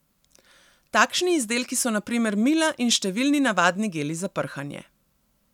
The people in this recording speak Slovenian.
Takšni izdelki so na primer mila in številni navadni geli za prhanje.